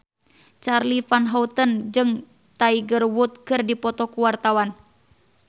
Charly Van Houten jeung Tiger Wood keur dipoto ku wartawan